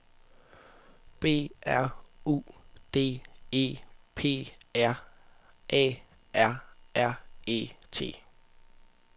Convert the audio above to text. B R U D E P A R R E T